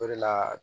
O de la